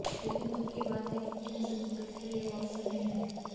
लेकिन दुख की बात है कि भूमि संजय दत्त के लिए वो अवसर नहीं है